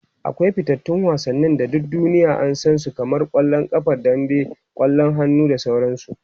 akwai fitattun wasanni da duk duniya an San su kamar kwallon ƙafa dambe, kwallon hannu da sauransu